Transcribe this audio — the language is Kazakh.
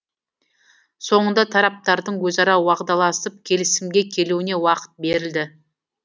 соңында тараптардың өзара уағдаласып келісімге келуіне уақыт берілді